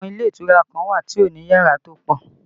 Àwọn ilé ìtura kan wà tó ní yàrá tó pọ̀